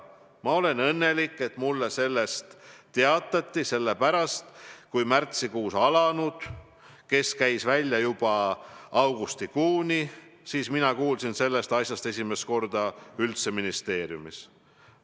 Ma olen õnnelik, et mulle sellest teatati, sellepärast kui märtsikuus alanud case käis välja juba augustikuuni, siis mina kuulsin sellest asjast esimest korda üldse ministeeriumis.